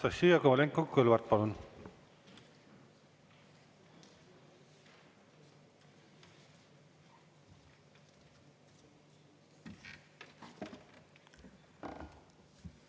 Anastassia Kovalenko-Kõlvart, palun!